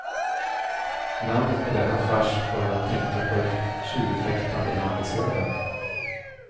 Namnet på denna fars får en att tänka på ett tjurfäktande land i söder.